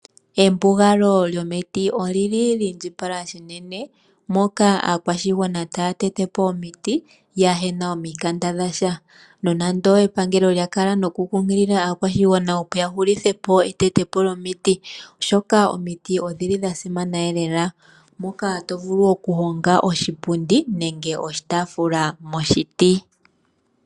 Embugalo lyomiti olyili lyiindjipala uunene molwaashoka aakwashigwana oyeli taa tete po omiti yaana uuthemba nando epangelo lyili tali londodha aantu opo yahulithe po okuteta omiti oshoka omiti odhili dha simana uunene molwaashoka omuntu otavulu okuhonga mo oshipundi nenge oshitaafula.